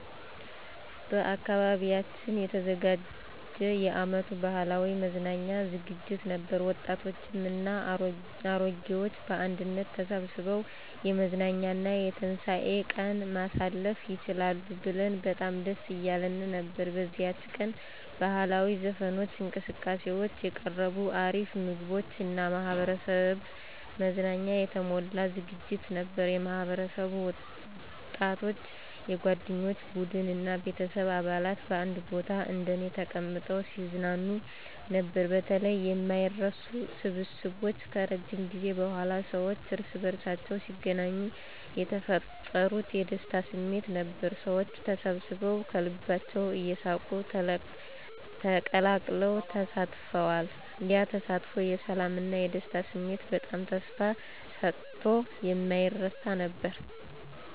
በአካባቢያችን የተዘጋጀ የአመቱ ባህላዊ መዝናኛ ዝግጅት ነበር፤ ወጣቶችም እና አሮጌዎች በአንድነት ተሰብስበው የመዝናኛ እና የትንሳኤ ቀን ማሳለፍ ይችላሉ ብለን በጣም ደስ እያለን ነበር። በዚያች ቀን ባህላዊ ዘፈኖች፣ እንቅስቃሴዎች፣ የቀረቡ አሪፍ ምግቦች እና የማህበረሰብ መዝናኛ የተሞላ ዝግጅት ነበር። የማህበረሰብ ወጣቶች፣ የጓደኞቼ ቡድን እና ቤተሰብ አባላት በአንድ ቦታ እንደኔ ተቀምጠው ሲዝናኑ ነበር። በተለይ የማይረሱ ስብስቦች ከረጅም ጊዜ በኋላ ሰዎች እርስ በርሳቸው ሲገናኙ የተፈጠሩት የደስታ ስሜት ነበሩ። ሰዎች ተሰብስበዉ ከልባቸው እየሳቁ ተቀላቅለው ተሳትፈዋል። ያ ተስፋ የሰላም እና የደስታ ስሜት በጣም ተስፋ ሰጥቶ የማይረሳ ነበር።